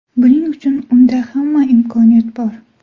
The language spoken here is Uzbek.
Buning uchun unda hamma imkoniyat bor.